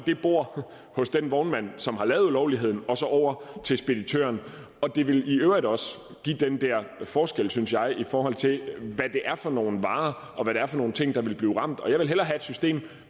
bordet hos den vognmand som har lavet ulovligheden og over til speditøren det vil i øvrigt også give den der forskel synes jeg i forhold til hvad det er for nogle varer og hvad det er for nogle ting der vil blive ramt jeg vil hellere have et system